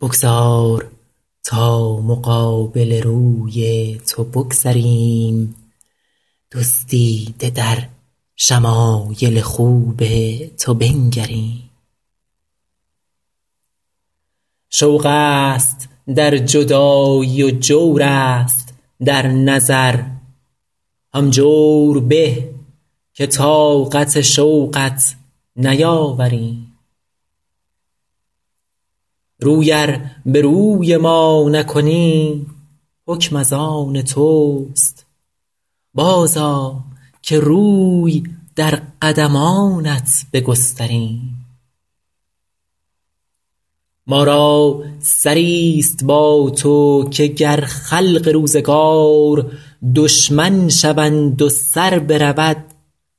بگذار تا مقابل روی تو بگذریم دزدیده در شمایل خوب تو بنگریم شوق است در جدایی و جور است در نظر هم جور به که طاقت شوقت نیاوریم روی ار به روی ما نکنی حکم از آن توست بازآ که روی در قدمانت بگستریم ما را سری ست با تو که گر خلق روزگار دشمن شوند و سر برود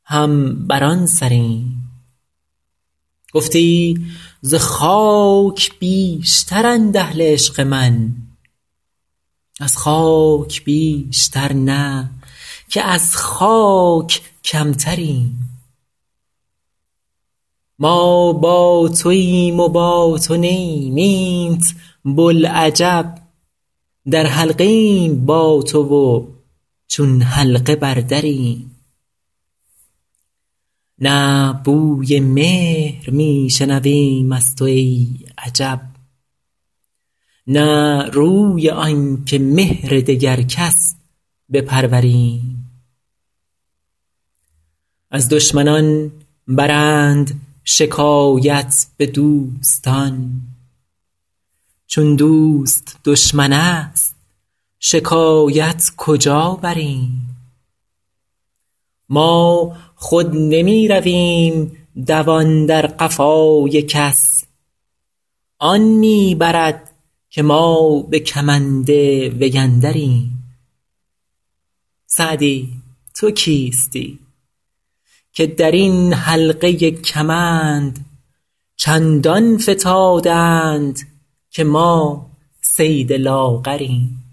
هم بر آن سریم گفتی ز خاک بیشترند اهل عشق من از خاک بیشتر نه که از خاک کمتریم ما با توایم و با تو نه ایم اینت بلعجب در حلقه ایم با تو و چون حلقه بر دریم نه بوی مهر می شنویم از تو ای عجب نه روی آن که مهر دگر کس بپروریم از دشمنان برند شکایت به دوستان چون دوست دشمن است شکایت کجا بریم ما خود نمی رویم دوان در قفای کس آن می برد که ما به کمند وی اندریم سعدی تو کیستی که در این حلقه کمند چندان فتاده اند که ما صید لاغریم